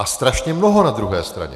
A strašně mnoho na druhé straně.